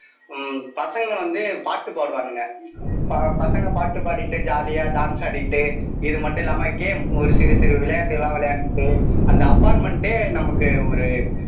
உம் பசங்க வந்து பாட்டு பாடுவானுங்க ப பசங்க பாட்டு பாடிட்டு jolly யா dance ஆடிட்டு இது மட்டும் இல்லாம game ஒரு சிறு சிறு விளையாட்டு எல்லாம் விளையண்ட்டுட்டு அந்த apartment ஏ நமக்கு ஒரு